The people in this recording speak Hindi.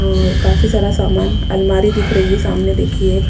और काफी सारा सामान अलमारी दिख रही है सामने देखिए एक--